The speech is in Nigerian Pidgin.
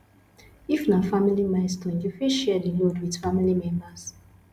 if na family milestone you fit share di load with family members